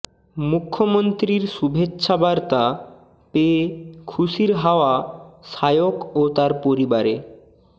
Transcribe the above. মুখ্যমন্ত্রীর শুভেচ্ছাবার্তা পেয়ে খুশির হাওয়া সায়ক ও তার পরিবারে